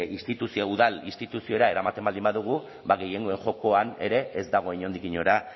instituzio udal instituziora eramaten baldin badugu ba gehiengoen jokoan ere ez dago inondik inora